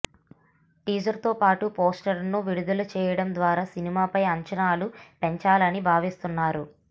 టీజర్తో పాటు పోస్టర్స్ను విడుదల చేయడం ద్వారా సినిమాపై అంచనాలు పెంచాలని భావిస్తున్నారు